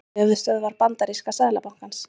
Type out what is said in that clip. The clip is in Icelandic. Höfuðstöðvar bandaríska seðlabankans.